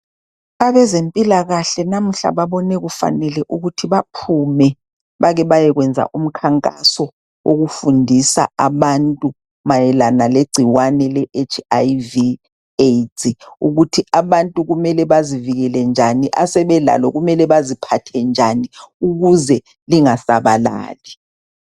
Abezempilakahle namuhla babone kufanele ukuthi baphume bake bayekwenza umkhankaso wokufundisa abantu mayelana legcikwane leHIV/AIDS ukuthi abantu kumele bazivikele njani, asebelalo kumele baziphathe njani ukuze lingasabalali.